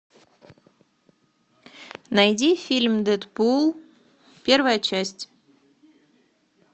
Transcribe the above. найди фильм дэдпул первая часть